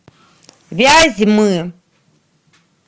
вязьмы